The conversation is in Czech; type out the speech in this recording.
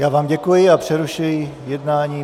Já vám děkuji a přerušuji jednání.